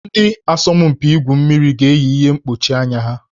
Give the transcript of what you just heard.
Ndị asọmpi igwu mmiri ga-eyi ihe mkpuchi anya ha